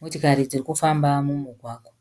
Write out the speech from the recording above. Motokari dzirikufamba mumugwagwa.